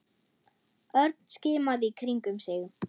Örn skimaði í kringum sig.